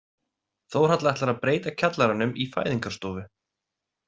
Þórhalla ætlar að breyta kjallaranum í fæðingarstofu.